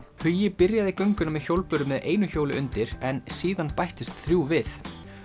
hugi byrjaði gönguna með hjólbörur með einu hjóli undir en síðan bættust þrjú við